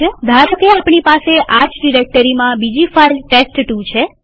ધારોકેઆપણી પાસે આ જ ડિરેક્ટરીમાં બીજી ફાઈલ ટેસ્ટ2 છે